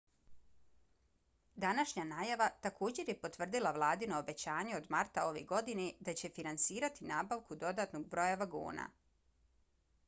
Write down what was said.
današnja najava također je potvrdila vladino obećanje od marta ove godine da će finansirati nabavku dodatnog broja vagona